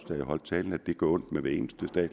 da jeg holdt talen at det gør ondt ved hver eneste